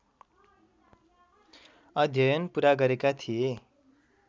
अध्ययन पुरा गरेका थिए